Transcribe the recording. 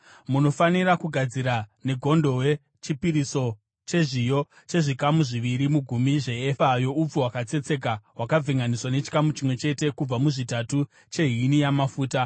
“ ‘Munofanira kugadzira negondobwe chipiriso chezviyo chezvikamu zviviri mugumi zveefa youpfu hwakatsetseka hwakavhenganiswa nechikamu chimwe chete kubva muzvitatu chehini yamafuta,